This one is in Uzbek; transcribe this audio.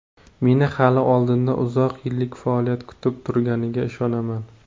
Meni hali oldinda uzoq yillik faoliyat kutib turganiga ishonaman.